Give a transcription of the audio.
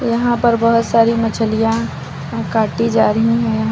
यहां पर बहोत सारी मछलियां काटी जा रही है यहां--